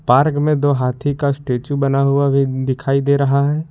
Park में दो हाथी का स्टेचू बना हुआ भी दिखाई दे रहा है।